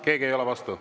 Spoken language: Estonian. Keegi ei ole vastu.